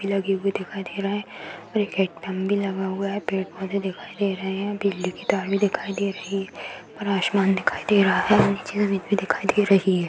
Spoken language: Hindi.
भी लगे हुए दिखाई दे रहे हैं और एक हैडपम्प लगा हुआ है। पेड़-पौधे भी दिखाई दे रहे हैं। बिजली की तार भी दिखाई दे रही है। ऊपर आसमान भी दिखाई दे रही है और नीचे जमीन भी दिखाई दे रही है।